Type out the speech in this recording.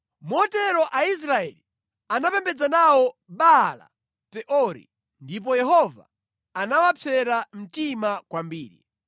Motero Aisraeli anapembedza nawo Baala-Peori ndipo Yehova anawapsera mtima kwambiri.